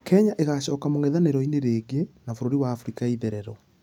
Kenya ĩgacoka mũngethanĩro-inĩ rĩngĩ na bũrũri wa africa ya itherero.